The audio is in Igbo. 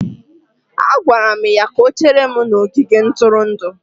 Agwara m ya ka o chere m n'ogige ntụrụndụ.